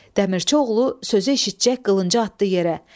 Dəmirçioğlu sözü eşitcək qılıncı atdı yerə.